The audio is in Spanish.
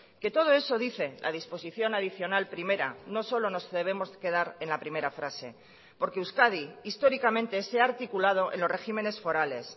que todo eso dice la disposición adicional primera no solo nos debemos quedar en la primera frase porque euskadi históricamente se ha articulado en los regímenes forales